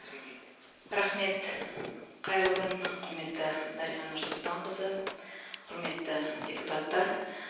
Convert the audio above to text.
сөйлейді рахмет қайырлы күн құрметті дариға нұрсұлтанқызы құрметті депутаттар